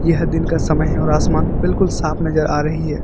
यह दिन का समय है और आसमान बिल्कुल साफ नजर आ रही है।